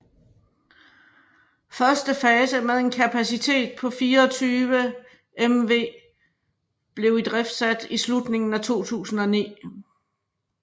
Første fase med en kapacitet på 24 MW blev idriftsat i slutningen af 2009